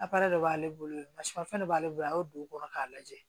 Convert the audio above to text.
de b'ale bolo fɛn dɔ b'ale bolo a y'o don o kɔrɔ k'a lajɛ